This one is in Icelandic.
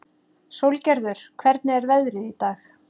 Sólgerður, hvernig er veðrið í dag?